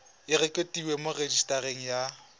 e rekotiwe mo rejisetareng ya